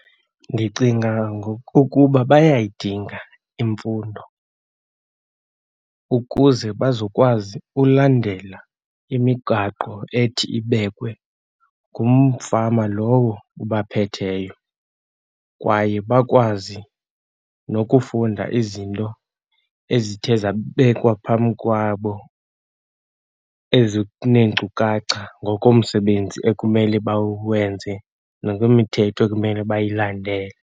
Ndicinga ngokokuba bayayidinga imfundo ukuze bazokwazi ulandela imigaqo ethi ibekwe ngumfama lowo ubaphetheyo. Kwaye bakwazi nokufunda izinto ezithe zabekwa phambi kwabo, ezi kuneenkcukacha ngokomsebenzi ekumele bawenze, nokwemithetho ekumele bayilendele.